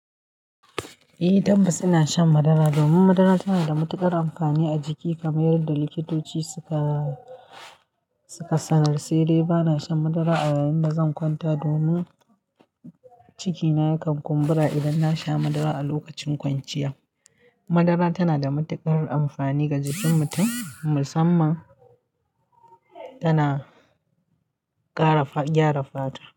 Eh tabbas ina shan madara domin madara tana da matuƙar amfani a jiki kamar yadda likitoti suka, suka sanar. Sai dai bana shan madara a yayin da zan kwanta domin cikina yakan kumbura idan na sha madara a lokacin kwanciya. Madara tana da matuƙar amfani ga jikin mutum musamman tana ƙara, gyara fata.